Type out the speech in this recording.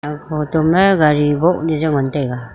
photo ma gari boh le jao ngan tega.